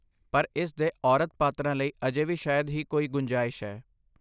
ਪਰ ਇਸ ਦੇ ਔਰਤ ਪਾਤਰਾਂ ਲਈ ਅਜੇ ਵੀ ਸ਼ਾਇਦ ਹੀ ਕੋਈ ਗੁੰਜਾਇਸ਼ ਹੈ।